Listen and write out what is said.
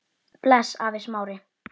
Bless afi Smári.